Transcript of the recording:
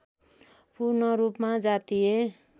पूर्णरूपमा जातीय